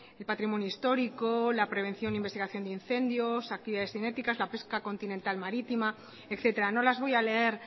el patrimonio histórico la prevención e investigación de incendios actividades cinéticas la pesca continental marítima etcétera no las voy a leer